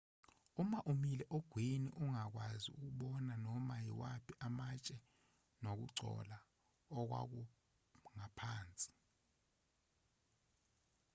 uma umile ogwini ungakwazi ukubona noma yimaphi amatshe nokugcola okwakuphansi